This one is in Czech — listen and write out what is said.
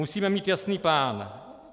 Musíme mít jasný plán.